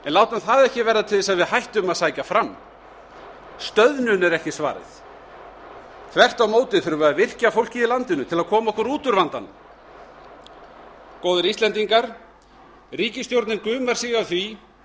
látum það ekki verða til þess að við hættum að sækja fram stöðnun er ekki svarið þvert á móti þurfum við að virkja fólkið í landinu til að koma okkur út úr vandanum góðir íslendingar ríkisstjórnin gumar sig af því